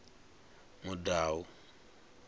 mudau